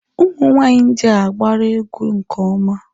Ụmụ nwanyị India agbara egwu nke ọma.